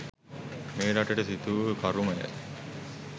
මේ රටට සිඳුවූ කරුමය.